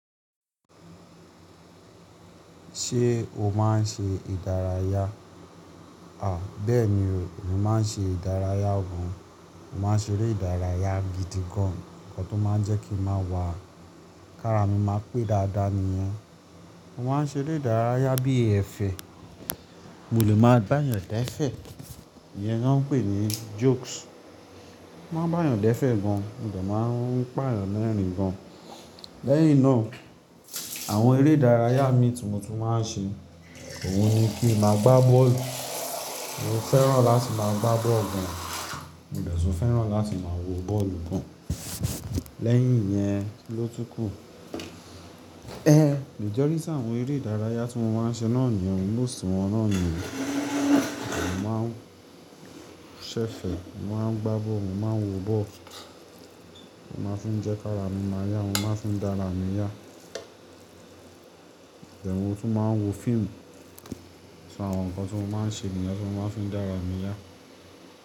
Ṣé o máa ń ṣe ìdárayá? Bẹ́ẹ̀ni, mo máa ń ṣe ìdárayá gan. Mo máa ń ṣeré ìdárayá gidi gan, ǹkan tó máa ń jẹ́ kí mo máa wà, kára mi máa pé dáadáa nìyẹn. Mo máa ń ṣeré ìdárayá bí ẹ̀fẹ̀. Mo lè máa bá eeyan dẹ́fẹ̀, ìyẹn ni wọ́n ń pè ní jokes. Mo máa ń bá eeyan dẹ́fẹ̀ gan, mo dẹ̀ máa ń pa eeyan lẹrín gan. Lẹ́yìn náà, àwọn eré ìdárayá mi tí mo tún máa ń ṣe, òun ni kí n máa gbá bọ́ọ̀lù. Mo fẹ́ràn láti máa gbá bọ́ọ̀lù gan, mo dẹ̀ tún fẹ́ràn láti máa wo bọ́ọ̀lù gan. Lẹ́yìn iyẹn kiló tún kù? Majority àwọn eré ìdárayá tí mo máa ń ṣe náà nìyẹn, Most wọn náà nìyẹn. Mo máa ń ṣẹ̀fẹ̀, mo máa ń gbá bọ́ọ̀lù, mo máa ń wo bọ́ọ̀lù. Mo máa fin jẹ́ ki ara mi máa yá, mo máa fin dára mi yá. Mo tún máa ń wo fíìmù. Awọn ǹkan tí mo máa ń ṣe nìyẹn tí mo máa fin dára mi yá.